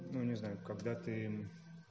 ну не знаю когда ты